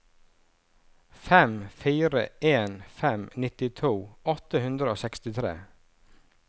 fem fire en fem nittito åtte hundre og sekstitre